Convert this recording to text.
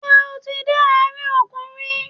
Ṣé o ti dé àárín òkun rí?